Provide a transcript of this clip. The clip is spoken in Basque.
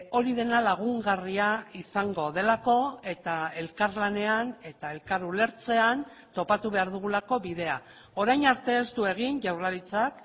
hori dena lagungarria izango delako eta elkarlanean eta elkar ulertzean topatu behar dugulako bidea orain arte ez du egin jaurlaritzak